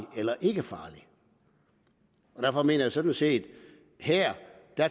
eller ikke farlig derfor mener jeg sådan set at her